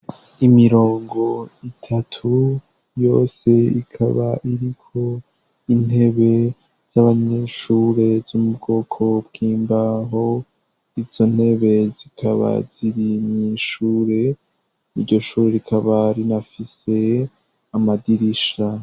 Imirongo itatu, yose ikaba iriko intebe z'abanyeshure zo mu bwoko bw'imbaho, izo ntebe zikaba ziri mw'ishure, iryo shure rikaba rinafise amadirisha.